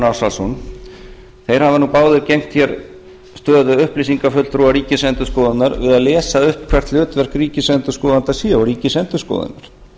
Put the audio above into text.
ársælsson hafa nú báðir gegnt hér stöðu upplýsingafulltrúa ríkisendurskoðunar við að lesa upp hvert hlutverk ríkisendurskoðanda sé og ríkisendurskoðunar